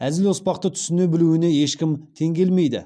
әзіл оспақты түсіне білуіне ешкім тең келмейді